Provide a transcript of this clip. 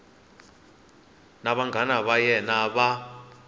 na vanghana va yena va